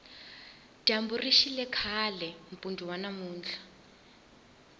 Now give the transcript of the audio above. dyambu rixile kahle mpundu wa namuntlha